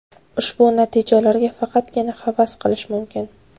Ushbu natijalarga faqatgina havas qilish mumkin.